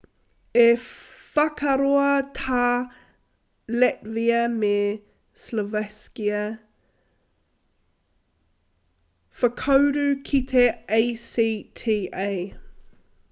i whakaroa tā latvia me slovakia whakauru ki te acta